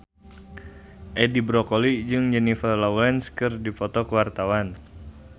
Edi Brokoli jeung Jennifer Lawrence keur dipoto ku wartawan